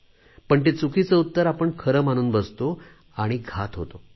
पण ते चुकीचे उत्तर आपण खरे मानून बसतो आणि घात होतो